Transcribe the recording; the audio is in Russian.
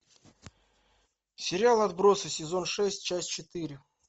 сериал отбросы сезон шесть часть четыре